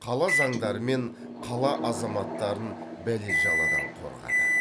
қала заңдары мен қала азаматтарын бәле жаладан қорғады